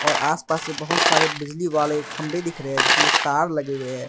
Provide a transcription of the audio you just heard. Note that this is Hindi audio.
आसपास से बहुत सारे बिजली वाले खंभे दिख रहे हैं जिसमें तार लगे हुए हैं।